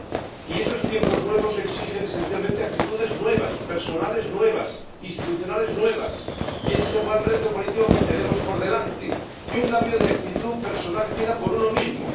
Y esos tiempos nuevos exigen esencialmente actitudes nuevas, actitudes personales nuevas, actitudes institucionales nuevas, y ése es el gran reto político que tenemos por delante. Un cambio de actitud personal empieza por uno mismo.